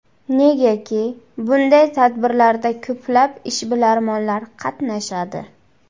Negaki bunday tadbirlarda ko‘plab ishbilarmonlar qatnashadi.